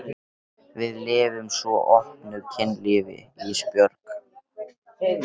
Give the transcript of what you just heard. Við lifum svo opnu kynlífi Ísbjörg.